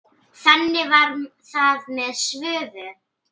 Þannig var það með Svövu.